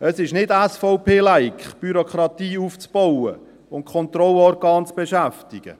Es ist nicht SVP-like, Bürokratie aufzubauen und Kontrollorgane zu beschäftigen.